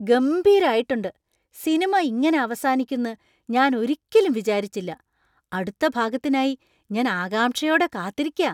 ഗംഭീരായിട്ടുണ്ട്! സിനിമ ഇങ്ങനെ അവസാനിക്കുന്ന് ഞാൻ ഒരിക്കലും വിചാരിച്ചില്ല. അടുത്ത ഭാഗത്തിനായി ഞാൻ ആകാംക്ഷയോടെ കാത്തിരിക്കാ.